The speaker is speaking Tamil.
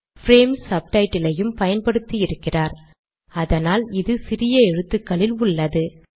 பிரேம் சப்டைட்டில் ஐயும் பயன்படுத்தி இருக்கிறார்அதனால் இது சிறிய எழுத்துக்களில் உள்ளது